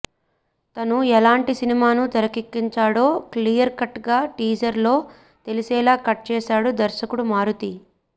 తను ఎలాంటి సినిమాను తెరకెక్కించాడో క్లియర్ కట్ గా టీజర్ లో తెలిసేలా కట్ చేశాడు దర్శకుడు మారుతి